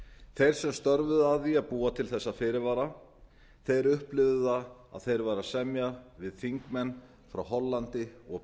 þeir sem störfuðu að því að búa til þessa fyrirvara upplifðu að þeir væru að semja við þingmenn frá hollandi og